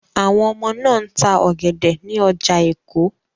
Àwọn ọmọ náà ń ta ọ̀gẹ̀dẹ̀ ní ọjà Èkó.